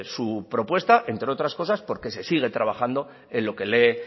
su propuesta entre otras cosas porque se sigue trabajando en lo que le